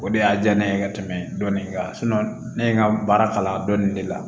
O de y'a diya ne ye ka tɛmɛ dɔnni kan ne ye n ka baara kalan dɔnni de la